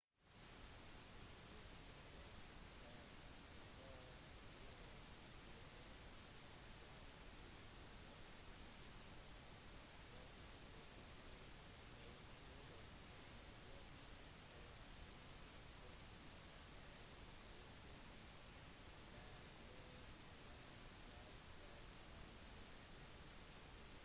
sjefinspektør for rspca new south wales david o'shannessy fortalte abc at overvåkning og inspeksjoner av slakteriene bør være en selvfølge i australia